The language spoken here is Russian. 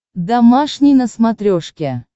домашний на смотрешке